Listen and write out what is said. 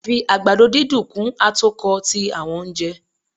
a fi àgbàdo dídùn kun atokọ ti awọn ounjẹ.